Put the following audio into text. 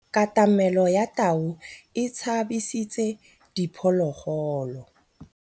Katamêlô ya tau e tshabisitse diphôlôgôlô.